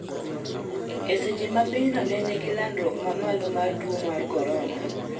eseche ma pinyno ne nigi landruok mamalo mar tuo mar korona